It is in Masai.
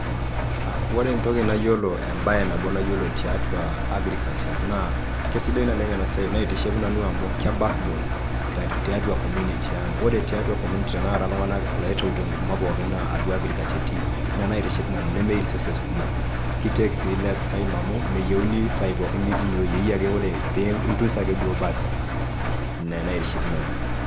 Ore entoki nayiolo embae nabo nayiolo tiatua agricuture naa aisidai naleng enasiai naitiship nanu amu keback bone tiatua community ang . Ore tiatua community tenakata iltunganak pokin naa atua agriculture etii, ina naitiship nanu nemeyieu resources kumok ,kitake si less time amu meyieu nitii kila saa ine.